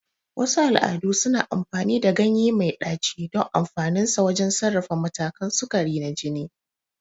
Wasu al'adu suna amfani da ganye mai ɗaci don amfaninsa wajen sarrafa matakan sukari na jini.